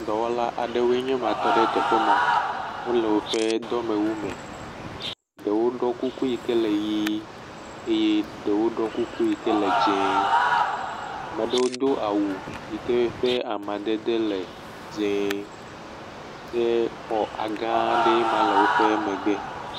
Dɔwɔla aɖewoe nye ma tɔ ɖe teƒe ma. Wole woƒe dɔwɔwu me. Ɖewo ɖɔ kuku yi ke le ʋi eye ɖewo ɖɔ kuku yi ke le dzẽ. Ame aɖewo do awu yi ke ƒe amadede le dzẽ ke xɔ gã ɖee nye ma le woƒe megbe.